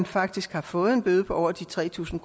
faktisk har fået en bøde på over de tre tusind